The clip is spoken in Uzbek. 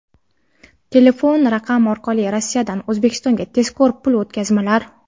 Telefon raqam orqali Rossiyadan O‘zbekistonga tezkor pul o‘tkazmalar!.